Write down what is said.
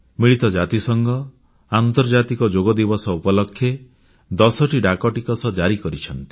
ମିଳିତ ଜାତିସଂଘ ଆନ୍ତର୍ଜାତିକ ଯୋଗ ଦିବସ ଉପଲକ୍ଷେ 10ଟି ଡାକଟିକଟ ଜାରି କରିଛନ୍ତି